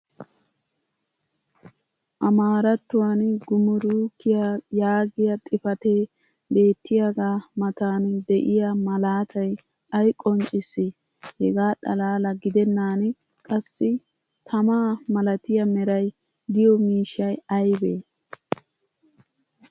amaarattuwan gumrukkiya yaagiya xifatee beettiyaaga matan diya malaattay ay qonccissii? hegaa xalaala gidennan qassi tamaa malattiya meray diyo miishshay aybee?